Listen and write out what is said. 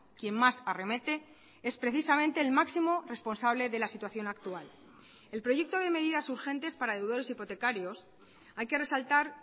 quien más arremete es precisamente el máximo responsable de la situación actual el proyecto de medidas urgentes para deudores hipotecarios hay que resaltar